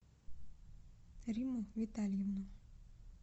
римму витальевну